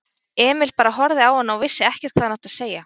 Emil bara horfði á hana og vissi ekkert hvað hann átti að segja.